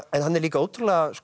en hann er líka ótrúlega